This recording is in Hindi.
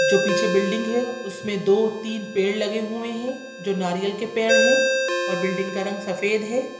जो पीछे बिल्डिंग है उसमे दो तीन पेड़ लगे हुए है| नारियल के पेड़ है और बिल्डिंग का रंग सफ़ेद है।